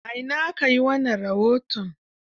A ina aka yi wannan rahoton?